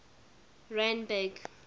randburg